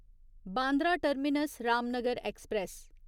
Bandra terminus Ramnagar express